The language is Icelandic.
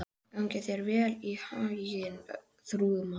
Gangi þér allt í haginn, Þrúðmar.